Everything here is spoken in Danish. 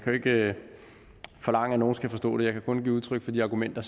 jo ikke forlange at nogen skal forstå det jeg kan kun give udtryk for de argumenter